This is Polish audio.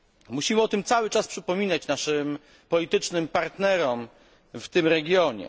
Musimy o tym cały czas przypominać naszym politycznym partnerom w tym regionie.